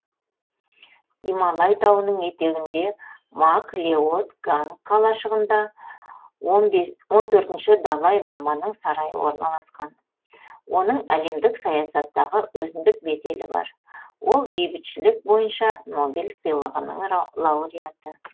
гималай тауының етегінде мак леод ганг қалашығында он бес он төртінші далай ламаның сарайы орналасқан оның әлемдік саясаттағы өзіндік беделі бар ол бейбітшілік бойынша нобель сыйлығының лауреаты